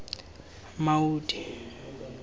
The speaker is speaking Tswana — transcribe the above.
maudi